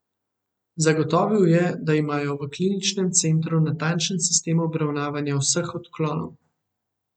Zagotovil je, da imajo v kliničnem centru natančen sistem obravnavanja vseh odklonov.